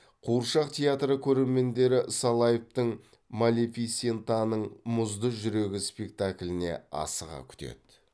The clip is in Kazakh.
қуыршақ театры көрермендері салаевтың малефисентаның мұзды жүрегі спектакліне асыға күтеді